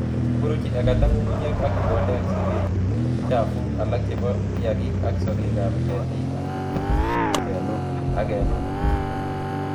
buruchi Agatha nyung'unyek ak mboleekab sikeik, chafuk alak chebo kiagik ak sokekab ketiik ak kenuun